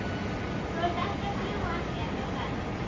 Þú ert ekki að ljúga að mér, er það?